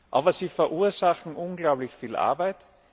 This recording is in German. sind. Aber sie verursachen unglaublich viel Arbeit.